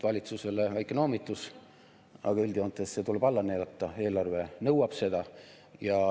Valitsusele väike noomitus, aga üldjoontes see tuleb alla neelata, eelarve nõuab seda.